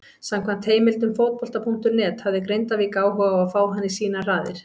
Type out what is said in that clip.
Samkvæmt heimildum Fótbolta.net hafði Grindavík áhuga á að fá hann í sínar raðir.